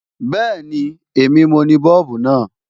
Bẹ́ẹ̀ni, èmi mo ni Bọ́ọ̀bù náà.